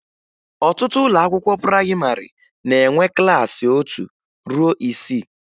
Ọtụtụ ụlọakwụkwọ prayịmarị na-enwe klassị otu ruo isii